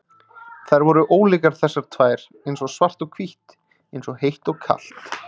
Þær voru ólíkar þessar tvær, eins og svart og hvítt, eins og heitt og kalt.